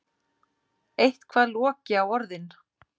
Eitthvað loki á orðin.